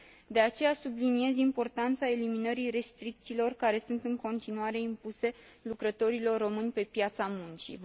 De aceea, subliniez importanța eliminării restricțiilor care sunt în continuare impuse lucrătorilor români pe piața muncii.